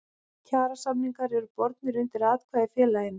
Kjarasamningar eru bornir undir atkvæði í félaginu.